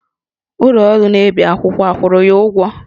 Ụlọ ọrụ na-ebi akwụkwọ akwụrụ ya ụgwọ?